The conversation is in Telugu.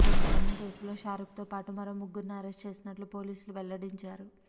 దొంగతనం కేసులో షారుఖ్ తో పాటు మరో ముగ్గురిని అరెస్టు చేసినట్లు పోలీసులు వెల్లడించారు